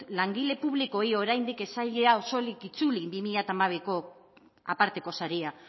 langile publikoei oraindik ez zaiela osorik itzuli bi mila hamabiko aparteko saria